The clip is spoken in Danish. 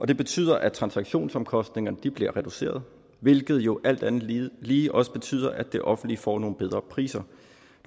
det betyder at transaktionsomkostningerne bliver reduceret hvilket jo alt andet lige lige også betyder at det offentlige får nogle bedre priser